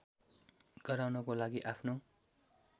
गराउनको लागि आफ्नो